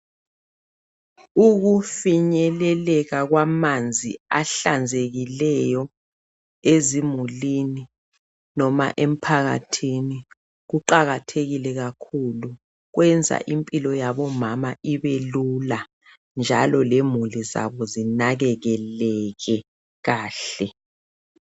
Ukufinyelekela kwamanzi ahlanzekileyo ezimulwini noma emphakathini kuqakatheke kakhulu kwenza impilo yabomama ibe lula njalo lemuli zabo azinakelekele kahle.